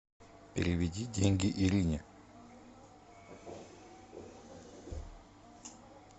переведи деньги ирине